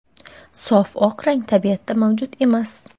"Sof oq rang tabiatda mavjud emas".